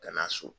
Ka na so